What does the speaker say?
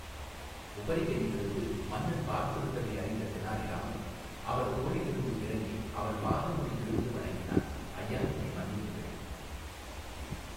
உபரிகையிலிருந்து மன்னன் பார்த்து விட்டதை அறிந்த தெனாலிராமன் அவர் தோளிலிருந்து இறங்கி அவர் பாதங்களில் வீழ்ந்து வணங்கினான் ஐயா என்னை மன்னியுங்கள்.